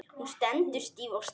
Hún stendur stíf og starir.